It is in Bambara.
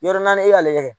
Yɔrɔ naani e y'ale kɛ